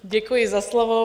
Děkuji za slovo.